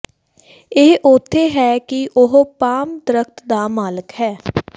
ਇਹ ਉੱਥੇ ਹੈ ਕਿ ਉਹ ਪਾਮ ਦਰਖ਼ਤ ਦਾ ਮਾਲਕ ਹੈ